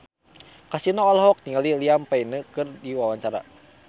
Kasino olohok ningali Liam Payne keur diwawancara